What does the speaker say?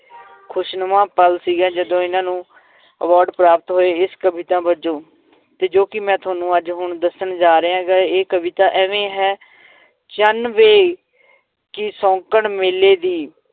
ਖ਼ੁਸ਼ਨੁਮਾ ਪਲ ਸੀਗਾ ਜਦੋਂ ਇਹਨਾਂ ਨੂੰ award ਪ੍ਰਾਪਤ ਹੋਏ, ਇਸ ਕਵਿਤਾ ਵਜੋਂ ਤੇ ਜੋ ਕਿ ਮੈਂ ਤੁਹਾਨੂੰ ਅੱਜ ਹੁਣ ਦੱਸਣ ਜਾ ਰਿਹਾਂ ਗਾ ਇਹ ਕਵਿਤਾ ਇਵੇਂ ਹੈ ਚੰਨ ਵੇ ਕੀ ਸ਼ੌਂਕਣ ਮੇਲੇ ਦੀ